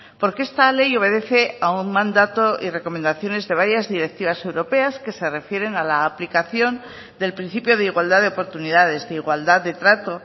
porque esta ley obedece a un mandato y recomendaciones de varias directivas europeas que se refieren a la aplicación del principio de igualdad de oportunidades de igualdad de trato